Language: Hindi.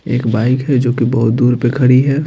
एक बाइक है जो कि बहुत दूर पे खड़ी है।